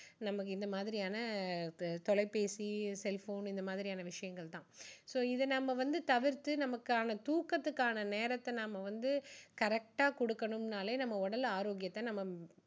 நம்ம இந்த மாதியான் தொலைப்பேசி cell phone இந்த மாதிரியான விஷயங்கள் தான் so இதை நம்ம வந்து தவிர்த்து நமக்கான தூக்கதுக்கான நேரத்தை நம்ம வந்து correct ஆ கொடுக்கணும்னாலே நம்ம உடல் ஆரோக்கியத்தை நம்ம